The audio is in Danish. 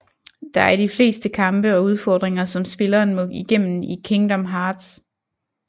De er i de fleste kampe og udfordringer som spilleren må igennem i Kingdom Hearts